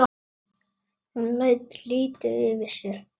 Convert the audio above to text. Hún lætur lítið yfir sér.